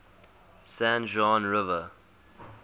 san juan river